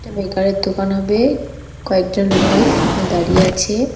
মেকারের দোকান হবে কয়েকজন লোক ওখানে দাঁড়িয়ে আছে।